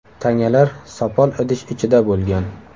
Tangalar sopol idish ichida bo‘lgan.